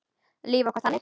Líf okkar þannig?